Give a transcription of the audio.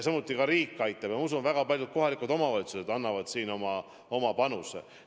Samuti aitab riik ja ma usun, et väga paljud kohalikud omavalitsused annavad ka oma panuse.